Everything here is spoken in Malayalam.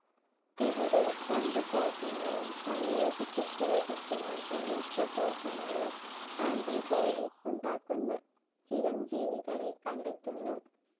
ഇവിടെ രണ്ടു കോശങ്ങളും സംയോജിപ്പിച്ച് ലഭിക്കുന്ന സംയുക്ത കോശങ്ങളിൽ ആന്റിബോഡി ഉണ്ടാക്കുന്ന ചിരംജീവികളെ കണ്ടെത്തുന്നു.